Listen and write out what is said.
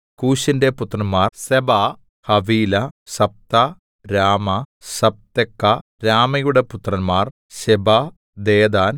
കൂശിന്റെ പുത്രന്മാർ Seba Havilah Sabtah Raamah Sabteca രമായുടെ പുത്രന്മാർ ശെബാ ദെദാൻ